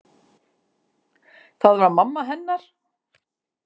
Það var mamma hennar.